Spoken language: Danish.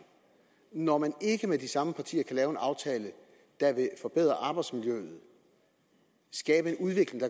når man ikke med de samme partier kan lave en aftale der vil forbedre arbejdsmiljøet og skabe en udvikling